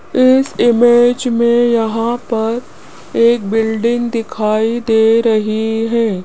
इस इमेज में यहां पर एक बिल्डिंग दिखाई दे रही है।